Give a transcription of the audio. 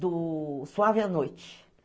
Do Suave à Noite.